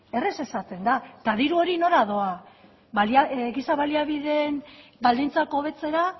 errez esaten da eta diru hori nora doa giza baliabideen baldintzak hobetzera